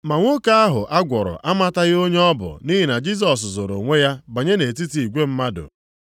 Ma nwoke ahụ a gwọrọ amataghị onye ọ bụ nʼihi na Jisọs zoro onwe ya banye nʼetiti igwe mmadụ.